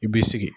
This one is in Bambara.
I b'i sigi